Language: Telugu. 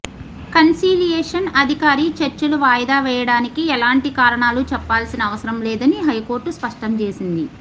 కన్సీలియేషన్ అధికారి చర్చలు వాయిదా వేయడానికి ఎలాంటి కారణాలు చెప్పాల్సిన అవసరంలేదని హైకోర్టు స్పష్టంచేసింది